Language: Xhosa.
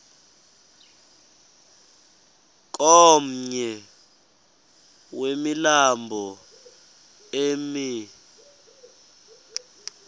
komnye wemilambo emi